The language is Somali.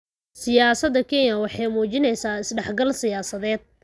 Siyaasada Kenya waxay muujinaysaa is dhexgal siyaasadeed.